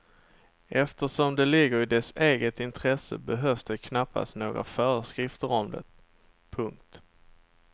Eftersom det ligger i dess eget intresse behövs det knappast några föreskrifter om det. punkt